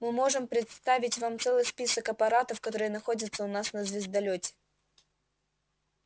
мы можем представить вам целый список аппаратов которые находятся у нас на звездолёте